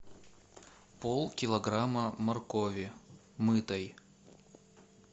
полкилограмма моркови мытой